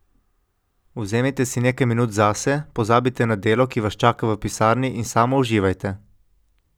Vzemite si nekaj minut zase, pozabite na delo, ki vas čaka v pisarni in samo uživajte.